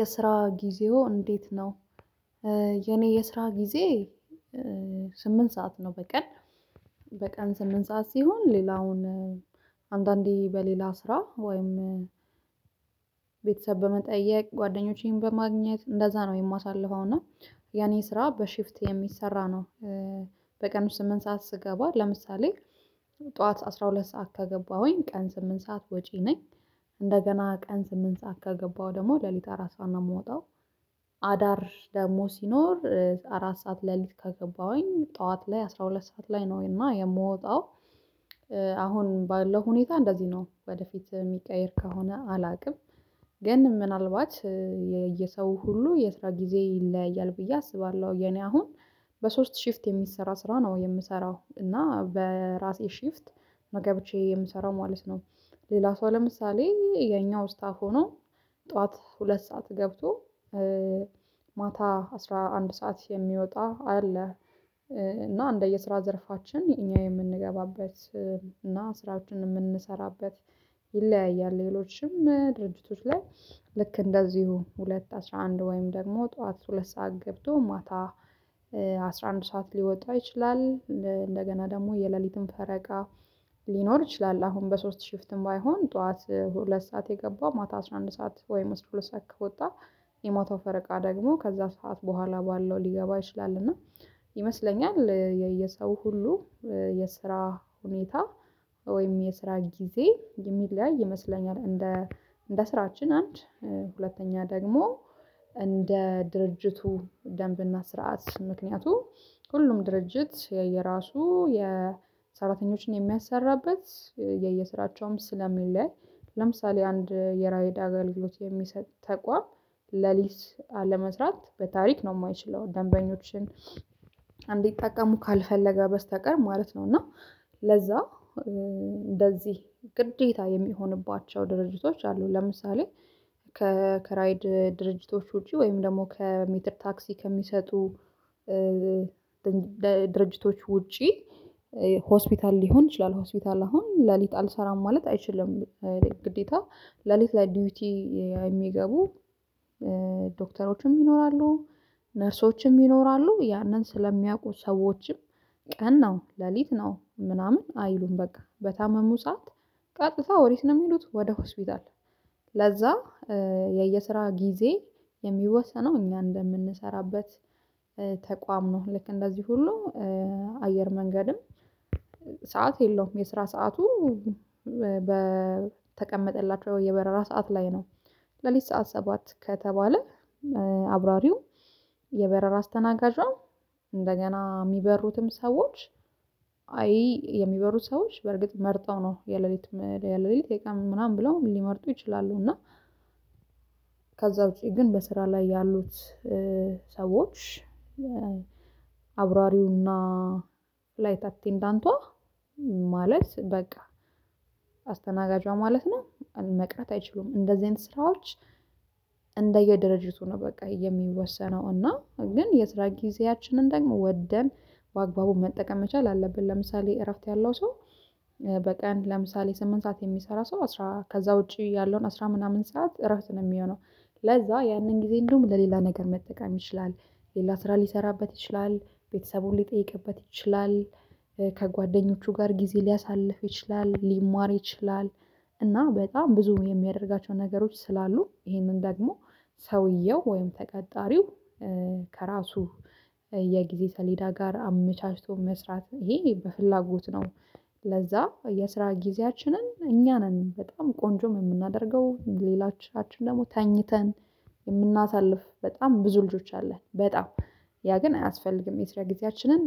የስራ ጊዜዎ እንዴት ነው? የኔ የስራ ጊዜ። ስምንት ሰዓት ነው በቀን በቀን ስምንት ሰዓት ሲሆን። ሌላውን አንዳንዴ በሌላ ስራ ወይም። ቤተሰብ በመጠየቅ ጓደኞቼን በማግኘት እንደዛ ነው የማሳልፈው። እና የኔ ስራ በሽፍት የሚሰራ ነው። በቀን ስምንት ሰዓት ስገባ ለምሳሌ ጠዋት አስራ ሁለት ሰዓት ከገባሁኝ ቀን ስምንት ሰዓት ወጪ ነኝ። እንደገና ቀን ስምንት ሰዓት ከገባሁ ደግሞ ሌሊት አራት ሰዓት ነው የምወጣው። አዳር ደግሞ ሲኖር አራት ሰዓት ሌሊት ከገባሁኝ ጠዋት ላይ አስራ ሁለት ሰዓት ላይ ነው እና የምወጣው። አሁን ባለው ሁኔታ እንደዚህ ነው ወደፊት የሚቀየር ከሆነ አላውቅም። ግን ምናልባት የሰው ሁሉ የስራ ጊዜ ይለያያል ብዬ አስባለሁ። የኔ አሁን በሶስት ሽፍት የሚሰራ ስራ ነው የምሰራው እና በራሴ ሽፍት ነው ገብቼ የምሰራው ማለት ነው። ሌላ ሰው ለምሳሌ የኛው ስታፍ ሆኖ ጠዋት ሁለት ሰዓት ገብቶ ማታ አስራ አንድ ሰዓት የሚወጣ አለ። እና እንደየስራ ዘርፋችን እኛ የምንገባበት እና ስራዎችን የምንሰራበት ይለያያል። ሌሎችም ድርጅቶች ላይ ልክ እንደዚሁ ሁለት አስራ አንድ ወይም ደግሞ ጠዋት ሁለት ሰዓት ገብቶ ማታ አስራ አንድ ሰዓት ሊወጣ ይችላል። እንደገና ደግሞ የሌሊትም ፈረቃ ሊኖር ይችላል። አሁን በሶስት ሽፍትም ባይሆን ጠዋት ሁለት ሰዓት የገባው ማታ አስራ አንድ ሰዓት ወይም ሁለት ሰዓት ከወጣ የማታው ፈረቃ ደግሞ ከዛ ሰዓት በኋላ ባለው ሊገባ ይችላል። እና ይመስለኛል የሰው ሁሉ የስራ ሁኔታ ወይም የስራ ጊዜ የሚለያይ ይመስለኛል። እንደ እንደ ስራችን አንድ ሁለተኛ ደግሞ እንደ ድርጅቱ ደንብና ስርዓት ምክንያቱ ሁሉም ድርጅት የየራሱ የሰራተኞችን የሚያሰራበት የየስራቸውም ስለሚለይ። ለምሳሌ አንድ የራይድ አገልግሎት የሚሰጥ ተቋም ለሊት ለመስራት በታሪክ ነው የማይችለው ደንበኞችን እንዲጠቀሙ ካልፈለገ በስተቀር ማለት ነው። እና ለዛ እንደዚህ ግዴታ የሚሆንባቸው ድርጅቶች አሉ። ለምሳሌ ከከራይድ ድርጅቶች ውጪ ወይም ደግሞ ከሜትር ታክሲ ከሚሰጡ ድርጅቶች ውጪ ሆስፒታል ሊሆን ይችላል ሆስፒታል አሁን ሌሊት አልሰራም ማለት አይችልም። ግዴታ ሌሊት ላይ ዲዩቲ የሚገቡ ዶክተሮችም ይኖራሉ። ነርሶችም ይኖራሉ ያንን ስለሚያውቁ ሰዎችም ቀን ነው ሌሊት ነው ምናምን አይሉም። በቃ በታመሙ ሰዓት ቀጥታ ወዴት ነው የሚሉት ወደ ሆስፒታል? ለዛ የየስራ ጊዜ የሚወሰነው እኛ እንደምንሰራበት ተቋም ነው። ልክ እንደዚህ ሁሉ አየር መንገድም ሰዓት የለውም የስራ ሰዓቱ በተቀመጠላቸው የበረራ ሰዓት ላይ ነው። ሌሊት ሰዓት ሰባት ከተባለ አብራሪው የበረራ አስተናጋጇ እንደገና የሚበሩትም ሰዎች አይ የሚበሩት ሰዎች በርግጥ መርጠው ነው የሌሊት የሌሊት የቀን ምናምን ብለውም ሊመርጡ ይችላሉ። እና ከዛ ውጪ ግን በስራ ላይ ያሉት ሰዎች አብራሪውና ላይት አቴንዳንቷ ማለት በቃ አስተናጋጇ ማለት ነው። መቅረት አይችሉም እንደዚህ አይነት ስራዎች። እንደየድርጅቱ ነው በቃ የሚወሰነው እና ግን የስራ ጊዜያችንን ደግሞ ወደን በአግባቡ መጠቀም መቻል አለብን። ለምሳሌ እረፍት ያለው ሰው በቀን ለምሳሌ ስምንት ሰዓት የሚሰራ ሰው አስራ ከዛ ውጪ ያለውን አስራ ምናምን ሰዓት እረፍት ነው የሚሆነው። ለዛ ያንን ጊዜ እንዲሁም ለሌላ ነገር መጠቀም ይችላል። ሌላ ስራ ሊሰራበት ይችላል ቤተሰቡን ሊጠይቅበት ይችላል ከጓደኞቹ ጋር ጊዜ ሊያሳልፍ ይችላል ሊማር ይችላል። እና በጣም ብዙ የሚያደርጋቸው ነገሮች ስላሉ ይሄንን ደግሞ ሰውየው ወይም ተቀጣሪው ከራሱ የጊዜ ሰሌዳ ጋር አመቻችቶ መስራት ይሄ በፍላጎት ነው። ለዛ የስራ ጊዜያችንን እኛ ነን በጣም ቆንጆም የምናደርገው ሌላቻችን ደግሞ ተኝተን የምናሳልፍ በጣም ብዙ ልጆች አለን። በጣም ያ ግን አያስፈልግም የሰራ ጊዜያችንን